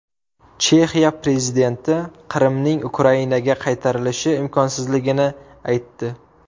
Chexiya prezidenti Qrimning Ukrainaga qaytarilishi imkonsizligini aytdi.